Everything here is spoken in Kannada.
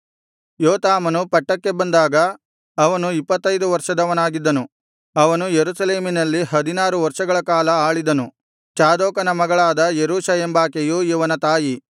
ಯೋತಾಮನು ಪಟ್ಟಕ್ಕೆ ಬಂದಾಗ ಅವನು ಇಪ್ಪತ್ತೈದು ವರ್ಷದವನಾಗಿದ್ದನು ಅವನು ಯೆರೂಸಲೇಮಿನಲ್ಲಿ ಹದಿನಾರು ವರ್ಷಗಳ ಕಾಲ ಆಳಿದನು ಚಾದೋಕನ ಮಗಳಾದ ಯೆರೂಷ ಎಂಬಾಕೆಯು ಇವನ ತಾಯಿ